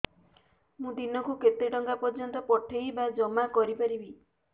ମୁ ଦିନକୁ କେତେ ଟଙ୍କା ପର୍ଯ୍ୟନ୍ତ ପଠେଇ ବା ଜମା କରି ପାରିବି